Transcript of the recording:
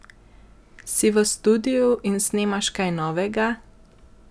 Si v studiu in snemaš kaj novega?